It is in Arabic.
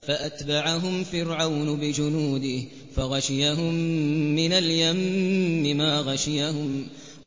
فَأَتْبَعَهُمْ فِرْعَوْنُ بِجُنُودِهِ فَغَشِيَهُم مِّنَ الْيَمِّ مَا غَشِيَهُمْ